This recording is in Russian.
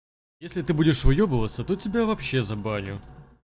если ты будешь выёбываться то тебя вообще забаню